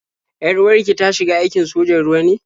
Yar-uwar ki ta shiga aikin sojan ruwa ne?